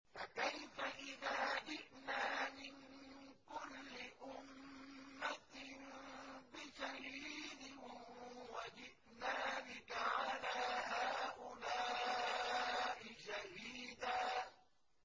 فَكَيْفَ إِذَا جِئْنَا مِن كُلِّ أُمَّةٍ بِشَهِيدٍ وَجِئْنَا بِكَ عَلَىٰ هَٰؤُلَاءِ شَهِيدًا